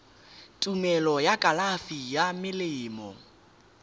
tumelelo ya kalafi ya melemo